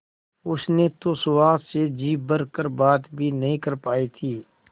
उसने तो सुहास से जी भर कर बात भी नहीं कर पाई थी